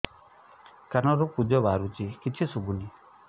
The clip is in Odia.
କାନରୁ ପୂଜ ବାହାରୁଛି କିଛି ଶୁଭୁନି